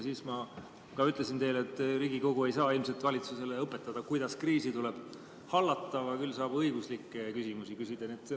Siis ma ka ütlesin teile, et Riigikogu ei saa ilmselt valitsusele õpetada, kuidas kriisi tuleb hallata, küll aga saab õiguslikke küsimusi küsida.